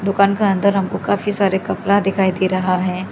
दुकान का अंदर हमको काफी सारे कपड़ा दिखाई दे रहा है।